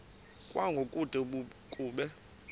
kwango kude kube